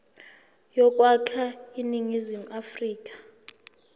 yokwakha iningizimu afrika